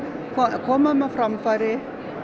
koma þeim á framfæri